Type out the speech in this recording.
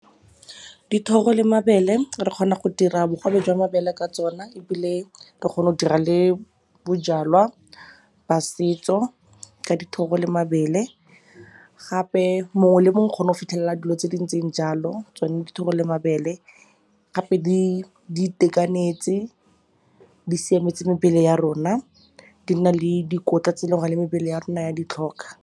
Dithoro le mabele re kgona go dira bogobe jwa mabele ka tsona ebile re kgona go dira le bojalwa ba setso ka dithoro le mabele. Gape mongwe le mongwe a kgone go fitlhelela dilo tse di ntseng jalo tsone dithoro le mabele. Gape di itekanetse di siametse mebele ya rona di na le dikotla tse e leng gore le mebele ya rona ya ditlhoka.